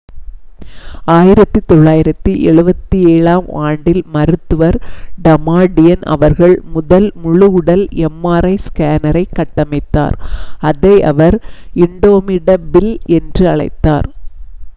1977ஆம் ஆண்டில் மருத்துவர் டமாடியன் அவர்கள் முதல் முழு உடல் எம்ஆர்ஐ ஸ்கேனரைக் கட்டமைத்தார் அதை அவர் இண்டோமிடபில் என்று அழைத்தார்